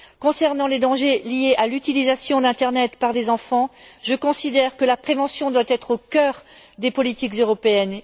Concernant les risques liés à l'utilisation de l'internet par des enfants, je considère que la prévention doit être au cœur des politiques européennes.